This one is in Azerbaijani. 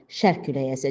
Şərq küləyi əsəcək.